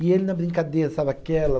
E ele, na brincadeira, sabe aquela?